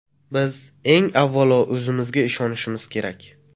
Biz eng avvalo o‘zimizga ishonimiz kerak.